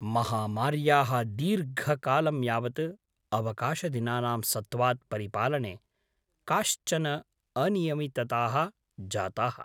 महामार्याः दीर्घकालं यावत् अवकाशदिनानां सत्त्वात् परिपालने काश्चन अनियमितताः जाताः।